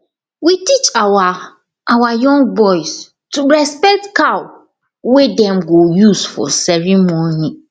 we teach our our young boys to respect cow wey dem go use for ceremony